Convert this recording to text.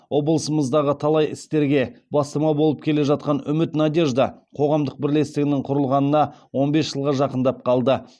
облысымыздағы талай істерге бастама болып келе жатқан үміт надежда қоғамдық бірлестігінің құрылғанына он бес жылға жақындап қалды